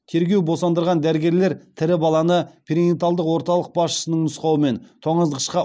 тергеу босандырған дәрігерлер тірі баланы перинаталдық орталық басшысының нұсқауымен тоңазытқышқа